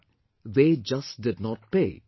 , they just did not pay